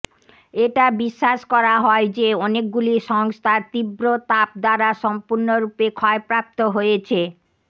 এটা বিশ্বাস করা হয় যে অনেকগুলি সংস্থা তীব্র তাপ দ্বারা সম্পূর্ণরূপে ক্ষয়প্রাপ্ত হয়েছে